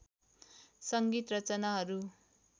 सङ्गीत रचनाहरू